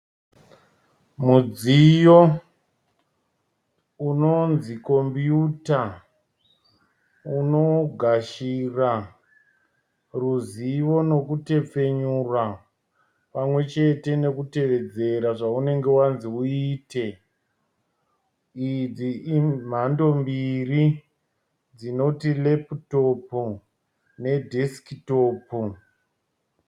Mudziyo unonzi computer unogashira ruzivo nekutepfenyura pamwechete nekutevedzera zvaunenge wanzi uite. Idzi imhando mbiri dzinoti laptop nedesk top.